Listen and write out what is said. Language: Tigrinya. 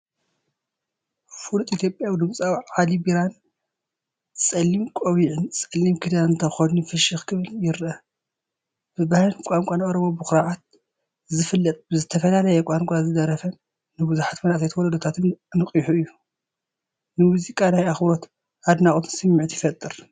ፍሉጥ ኢትዮጵያዊ ድምጻዊ ዓሊ ቢራን፣ ጸሊም ቆቢዕን ጸሊም ክዳንን ተኸዲኑ ፍሽኽ ክብል ይርአ። ብባህልን ቋንቋን ኦሮሞ ብኹርዓት ዝፍለጥ፤ ብዝተፈላለየ ቋንቋታት ዝደረፈን ንብዙሓት መንእሰያት ወለዶታት ኣነቓቒሑን እዩ። ንሙዚቃ ናይ ኣኽብሮትን ኣድናቖትን ስምዒት ይፈጥር።